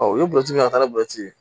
u ye burusik'a bɔ ji